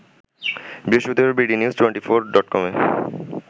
বৃহস্পতিবার bdnews twenty four ডটকমকে